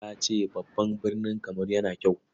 Ladi ta ce babban birni Kamaru yana kyau.